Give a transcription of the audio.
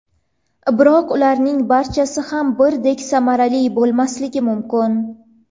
Biroq ularning barchasi ham birdek samarali bo‘lmasligi mumkin.